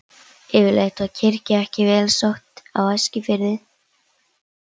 Yfirleitt var kirkja ekki vel sótt á Eskifirði.